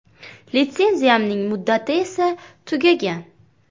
“Litsenziyamning muddati esa tugagan.